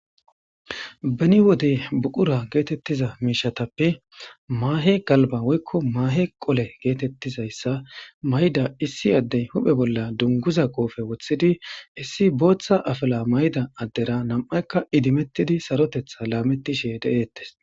Beni wode buqura geetettiza miishatappe maahe galba woykko maahe qole geetettizayssa mayda issi addey huphe bolla dunguza qoofe wothidi issi booththa afala mayda addera nam7aykka idimettidi sarotetha laametishe de7eettes.